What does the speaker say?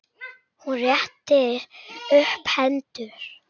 Hún rétti upp hendur.